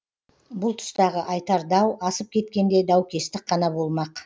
бұл тұстағы айтар дау асып кеткенде даукестік қана болмақ